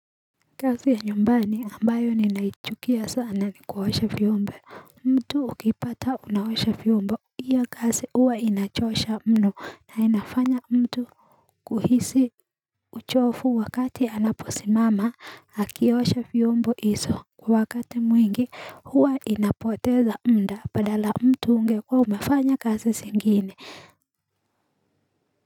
Kazi ya nyumbani ambayo ninaichukia sana ni kuosha vyombo mtu ukipata unaosha vyombo hiyo kazi huwa inachosha mno na inafanya mtu kuhisi uchofu wakati anaposimama akiosha vyombo hizo kwa wakati mwingi huwa inapoteza muda badala mtu ungekuwa umafanya kazi zingine.